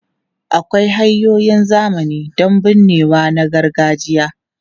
Akwai hanyoyin zamani don binnewa na gargajiya.